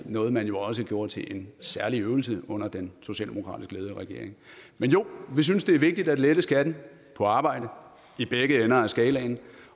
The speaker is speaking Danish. noget man jo også gjorde til en særlig øvelse under den socialdemokratisk ledede regering men jo vi synes det er vigtigt at lette skatten på arbejde i begge ender af skalaen